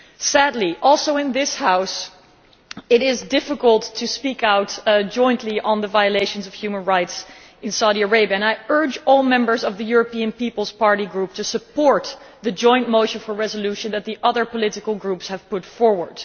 Sadly, also in this House it is difficult to speak out jointly on the violations of human rights in Saudi Arabia and I urge all Members of the European People's Party Group to support the joint motion for a resolution that the other political groups have put forward.